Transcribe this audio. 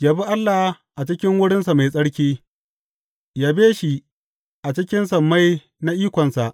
Yabi Allah a cikin wurinsa mai tsarki; yabe shi a cikin sammai na ikonsa.